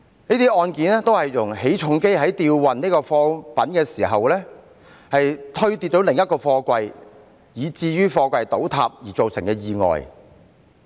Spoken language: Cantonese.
這些案件均是由於起重機在吊運貨櫃時推跌另一個貨櫃，以致貨櫃倒塌而造成的意外。